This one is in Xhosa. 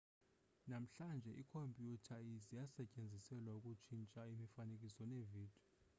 namhlanje iikhompyutha zisetyenziselwa ukutshintsha imifanekiso neevidiyo